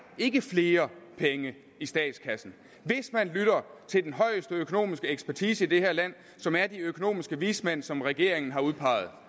ikke flere penge i statskassen hvis man lytter til den højeste økonomiske ekspertise i det her land som er de økonomiske vismænd som regeringen har udpeget